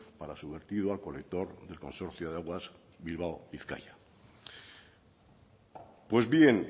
para su vertido al colector del consorcio de aguas bilbao bizkaia pues bien